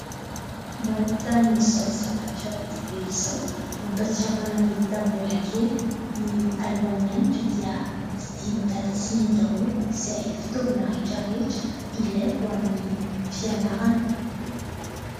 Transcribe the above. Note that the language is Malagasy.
Mahita an'izao zavatra be dia be izao, mampatsiaro ahy ny tamin'ny bola kely; ny alohan'ny mianatra dia vidian'i dada sy neny daholo izay fitaovana rehetra rehetra ilaiko ho an'ny fianarana.